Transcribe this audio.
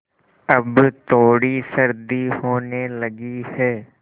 अब थोड़ी सर्दी होने लगी है